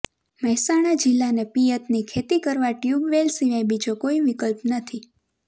મહેસાણા જિલ્લાને પિયતની ખેતી કરવા ટયૂબવેલ સિવાય બીજો કોઈ વિકલ્પ નથી